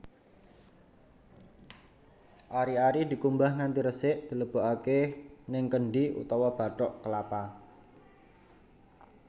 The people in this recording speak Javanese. Ari ari dikumbah nganti resik dilebokake ning kendhi utawa bathok kelapa